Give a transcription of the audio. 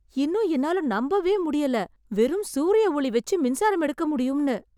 இன்னும் என்னால நம்பவே முடியல, வெறும் சூரிய ஒளி வச்சி, மின்சாரம் எடுக்க முடியும்ன்னு